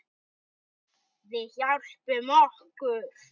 Við hjálpum okkur.